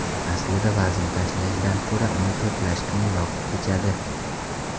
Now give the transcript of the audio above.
Aslida vazn tashlashdan ko‘ra uni to‘plash qiyinroq kechadi.